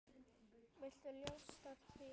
Viltu ljóstra því upp?